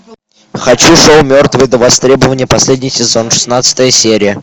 хочу шоу мертвый до востребования последний сезон шестнадцатая серия